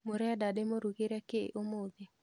Mũrenda ndĩmũrugĩre kĩĩ ũmũthĩ?